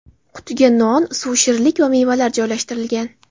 Qutiga non, suv, shirinlik va mevalar joylashtirilgan.